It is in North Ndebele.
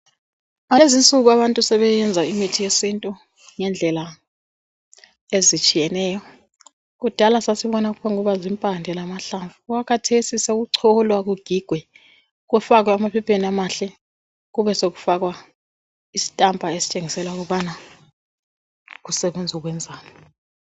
Lezinsuku abantu sebeyenza imithi yesintu ngendlela ezitshiyeneyo. Kudala sasibona kuphongkuba zimpande lamahlamvu. Okwakhathesi sokucholwa, kugigwe, kufakwe emaphepheni amahle, kube sokufakwa isitampa sokubana kusebenz' ukwenzani.